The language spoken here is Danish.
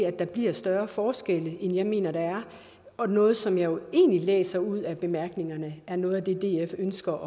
at der bliver større forskelle end jeg mener der er og noget som jeg egentlig læser ud af bemærkningerne er noget af det df ønsker